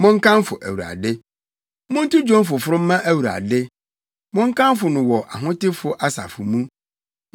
Monkamfo Awurade. Monto dwom foforo mma Awurade, monkamfo no wɔ ahotefo asafo mu.